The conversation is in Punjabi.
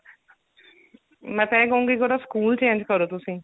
ਮੈਂ ਤਾਂ ਇਹ ਕਹੂੰਗੀ ਕਿ ਉਹਦਾ ਸਕੂਲ change ਕਰੋ ਤੁਸੀਂ